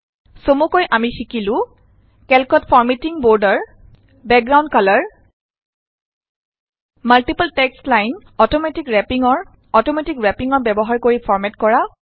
চমুকৈ আমি শিকিলো কেল্কত formatting border background colour multiple text line automatic wrapping ব্যৱহাৰ কৰি ফৰমেট কৰা